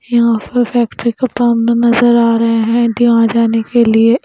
यहां पर फैक्ट्री का काम नजर आ रहे हैं जहां जाने के लिए--